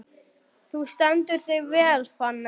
Þú stendur þig vel, Fanný!